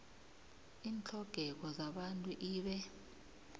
iintlhogeko zabantu ibe